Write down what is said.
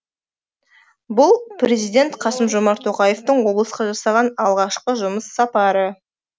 бұл президент қасым жомарт тоқаевтың облысқа жасаған алғашқы жұмыс сапары